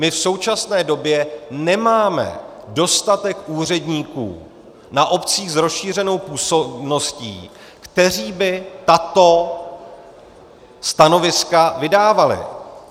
My v současné době nemáme dostatek úředníků na obcích s rozšířenou působností, kteří by tato stanoviska vydávali.